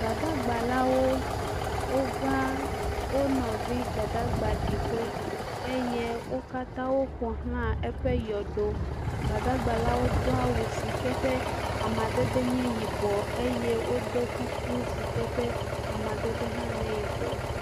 Gbadagbalawo wova wo nɔvi gbadagba ɖiƒe eye wo katã woƒoxla eƒe yɔdo, gbadagbalawo do awu si ke ƒe amadede nye yibɔ eye wodo kuku sike ƒe amadede nye yibɔ.